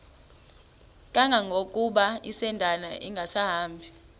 kangangokuba isindane ingasahambi